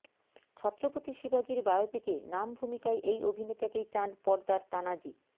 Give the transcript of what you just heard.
ছত্রপতি শিবাজির বায়োপিকে নাম ভূমিকায় এই অভিনেতাকেই চান পর্দার তানাজি